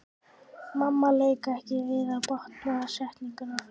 Mamma lauk ekki við að botna setninguna.